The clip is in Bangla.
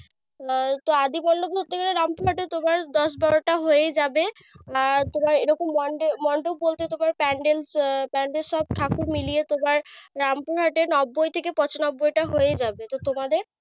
আহ তো আদি মন্ডোপ রামপুর হাটে তোমার দশ-বারোটা হয়ে যাবে। আর তোমার এরকম মন্ডে মন্ডোপ বলতে তোমার pandels এর সব ঠাকুর মিলেয়ে তোমার রামপুর হাটে নব্বই থেকে পচানব্বই টা হয়ে যাবে। তো তোমাদের?